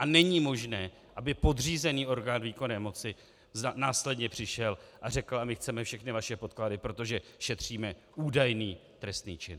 A není možné, aby podřízený orgán výkonné moci následně přišel a řekl: a my chceme všechny vaše podklady, protože šetříme údajný trestný čin.